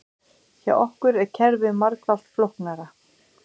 Hjá okkur er kerfið margfalt flóknara